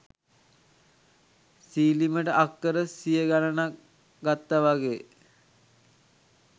සිලිමට අක්කර සිය ගණනක් ගත්ත වගේ.